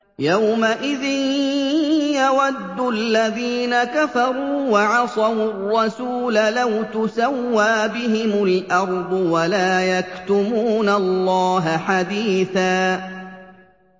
يَوْمَئِذٍ يَوَدُّ الَّذِينَ كَفَرُوا وَعَصَوُا الرَّسُولَ لَوْ تُسَوَّىٰ بِهِمُ الْأَرْضُ وَلَا يَكْتُمُونَ اللَّهَ حَدِيثًا